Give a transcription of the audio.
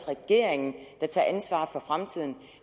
regeringen der tager ansvaret for fremtiden